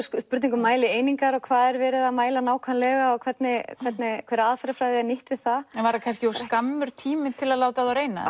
spurning um mælieiningar og hvað er verið að mæla nákvæmlega og hvernig hvernig aðferðarfræði er nýtt við það var það kannski of skammur tími til að láta á það reyna